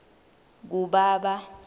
kubaba